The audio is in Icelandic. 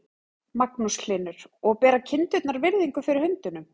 Magnús Hlynur: Og bera kindurnar virðingu fyrir hundunum?